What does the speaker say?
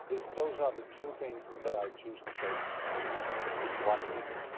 Those are the two things that I choose to say tonight in one minute.